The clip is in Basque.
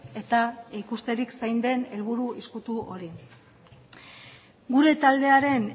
eta ikusterik zein den helburu ezkutu hori gure taldearen